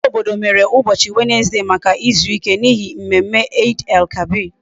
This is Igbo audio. Ndi isi obodo mere ubochi Wednesday Maka izuike, n'ihi mmemme Eid El kabir